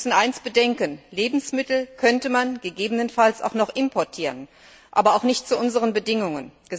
Wir müssen eines bedenken Lebensmittel könnte man gegebenenfalls auch noch importieren, aber nicht zu unseren Bedingungen.